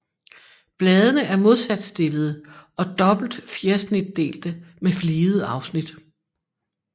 Bladene er modsat stillede og dobbelt fjersnitdelte med fligede afsnit